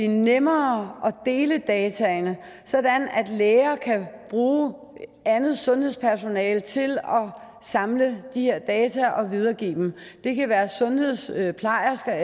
nemmere at dele dataene sådan at læger kan bruge andet sundhedspersonale til at samle de her data og videregive dem det kan være sundhedsplejersker